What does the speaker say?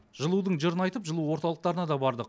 жылудың жырын айтып жылу орталықтарына да бардық